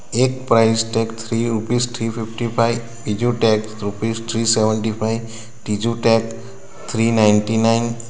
એક price tag three rupees three fifty five બીજો tag rupees three seventy five ત્રીજો tag three ninety nine .